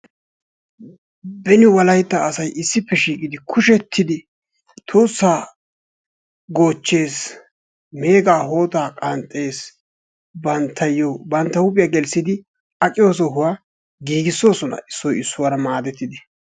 Beni wolaitta asay issippe shiiqqidi kushshettidi tuussaa goochchees, meegaa hootaa qanxxees. Banttayo bantta huphphiya gelissidi aqiyo sohuwwa giigisosona issoy issuwara maadettidi.